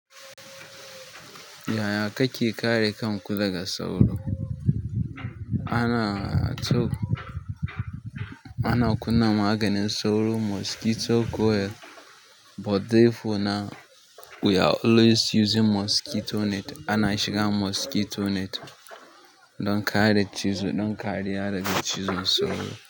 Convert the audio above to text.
Yaya kake kare kan ku daga sauro? Ana kunnan maganin sauro mosquito coil but therefore now, we are always using mosquito net. Ana shiga mosquito net don kare cizo don kare yara daga cizon sauro.